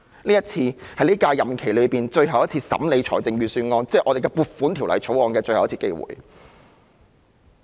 今次是我們在本屆任期最後一次審議預算案，亦即《撥款條例草案》的機會。